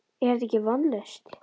Er þetta ekki vonlaust?